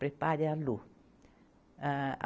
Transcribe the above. Prepare a Lu. Âh